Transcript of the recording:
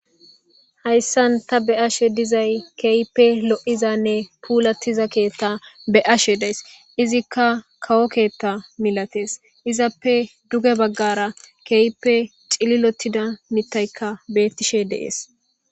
Hayisan ta be'ashe dizayi kehippe loizays pulatida ketha be'ashe dayis izika kawo ketha nilates izape guye bagara kehipe cililotiza mitayika betishe de'es